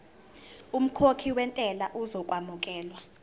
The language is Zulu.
umkhokhi wentela uzokwamukelwa